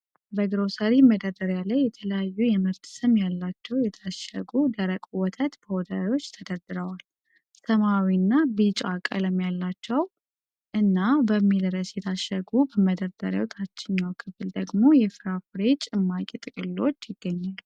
በግሮሰሪ መደርደሪያ ላይ የተለያዩ የምርት ስም ያላቸው የታሸጉ ደረቅ ወተት ፓውደሮች ተደርድረዋል። ሰማያዊና ቢጫ ቀለም ያላቸው “LATO MILK” እና “HILWA” በሚል ርዕስ የታሸጉ በመደርደሪያው ታችኛው ክፍል ደግሞ የፍራፍሬ ጭማቂ ጥቅሎች ይገኛሉ።